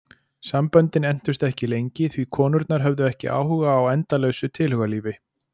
Samböndin entust ekki lengi því konurnar höfðu ekki áhuga á endalausu tilhugalífi.